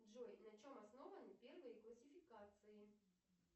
джой на чем основаны первые классификации